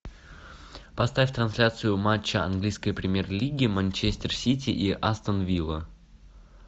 поставь трансляцию матча английской премьер лиги манчестер сити и астон вилла